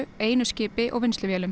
einu skipi og